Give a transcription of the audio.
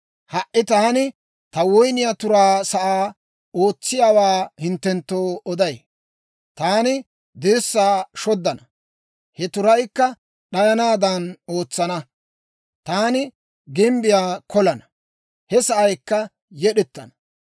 Ha"i taani ta woyniyaa turaa sa'aa, ootsiyaawaa hinttenttoo oday. Taani dirssaa shoddana; he turaykka d'ayanaadan ootsana. Taani gimbbiyaa kolana; he sa'aykka yed'ettana.